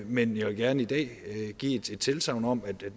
men jeg vil gerne i dag give et tilsagn om at